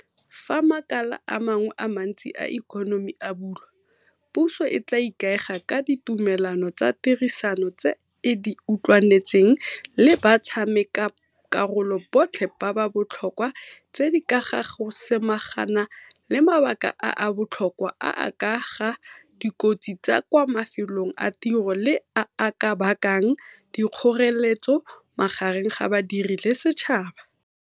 Fa makala a mangwe a mantsi a ikonomi a bulwa, puso e tla ikaega ka ditumelano tsa tirisano tse e di utlwanetseng le batshameka karolo botlhe ba ba botlhokwa tse di ka ga go samagana le mabaka a a botlhokwa a a ka ga dikotsi tsa kwa mafelong a tiro le a a ka bakang dikgoreletso magareng ga badiri le setšhaba.